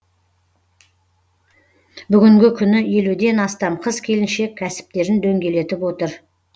бүгінгі күні елуден астам қыз келіншек кәсіптерін дөңгелетіп отыр